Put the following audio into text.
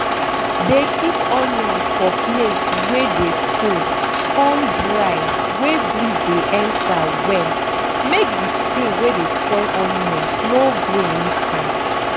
dey keep onions for place wey dey cold con dry wey breeze dey enter well make de tin wey dey spoil onion no grow inside.